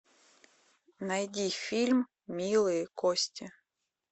найди фильм милые кости